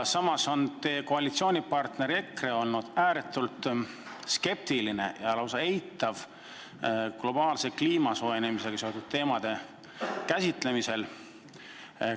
Samas on teie koalitsioonipartner EKRE olnud ääretult skeptiline kliima globaalse soojenemisega seotud teemade käsitlemisel, seda lausa eitanud.